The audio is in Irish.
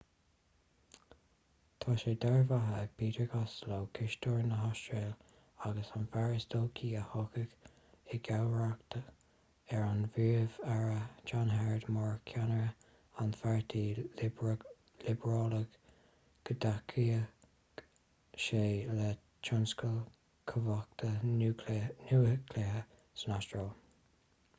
tá sé dearbhaithe ag peter costello cisteoir na hastráile agus an fear is dóichí a thiocfaidh i gcomharbacht ar an bpríomh-aire john howard mar cheannaire an pháirtí liobrálaigh go dtacóidh sé le tionscal cumhachta núicléiche san astráil